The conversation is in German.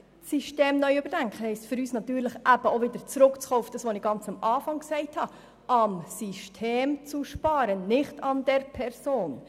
Das System neu zu überdenken, heisst für uns natürlich auch, wieder auf das zurückzukommen, was ich ganz am Anfang gesagt habe, nämlich am System zu sparen und nicht an der Person.